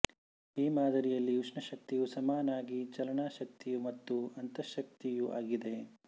ಈ ಮಾದರಿಯಲ್ಲಿ ಉಷ್ಣ ಶಕ್ತಿಯು ಸಮನಾಗಿ ಚಾಲನಾ ಶಕ್ತಿಯೂ ಮತ್ತು ಅಂತಸ್ಥಶಕ್ತಿಯೂ ಆಗಿದೆ